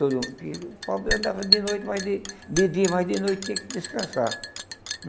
Porque o pobre andava de noite mas de de dia, mas de noite tinha que descansar.